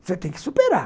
Você tem que superar.